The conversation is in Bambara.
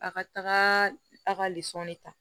A ka taga a ka ta